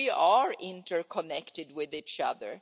We are interconnected with each other.